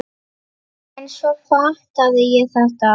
En svo fattaði ég þetta!